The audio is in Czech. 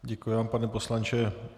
Děkuji vám pane poslanče.